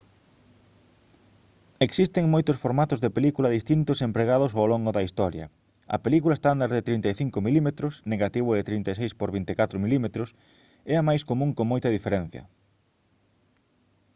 existen moitos formatos de película distintos empregados ao longo da historia. a película estándar de 35 mm negativo de 36 por 24 mm é a máis común con moita diferenza